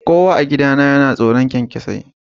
Kowa a gidana yana tsoron kyankyasai